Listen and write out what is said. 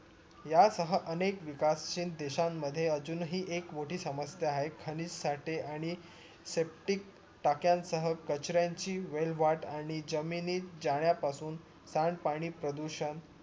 या सह अनेक विकासहीन देशांमध्ये अजून हि एक मोठी समश्या आहे खनिज साठी आणि septic टाक्यांसह कचऱ्यानची वेलवाट आणि जमिनीत जाण्या पासून सांड पाणी प्रदूषण